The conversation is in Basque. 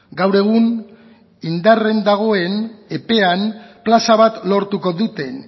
gaur egun indarrean dagoen epean plaza bat lortuko duten